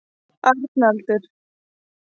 Arnaldur